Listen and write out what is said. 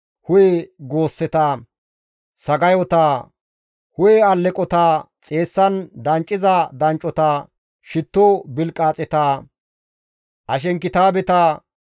hu7e goosseta, sagayota, hu7e alleqota, xeessan dancciza danccota, shitto bilqaaxeta, ashenkitaabeta,